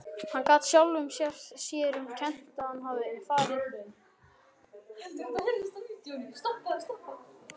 Hann gat sjálfum sér um kennt að hann hafði farið á mis við þá.